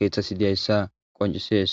keeththasi diyayssa qoncisees